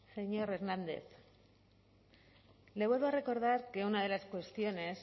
señor hernández le vuelvo a recordar que una de las cuestiones